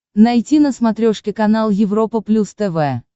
найти на смотрешке канал европа плюс тв